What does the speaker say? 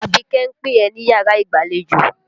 Àbíké ń pé ẹ̀ níyàrá ìgbàlejò.